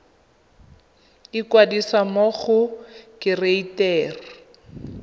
ikwadisa mo go kereite r